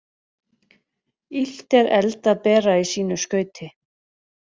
Illt er eld að bera í sínu skauti.